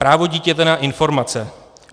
Právo dítěte na informace.